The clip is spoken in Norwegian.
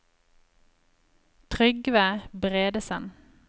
Trygve Bredesen